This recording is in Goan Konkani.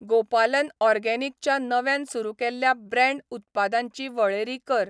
गोपालन ऑर्गेनिक च्या नव्यान सुरू केल्ल्या ब्रँड उत्पादांची वळेरी कर.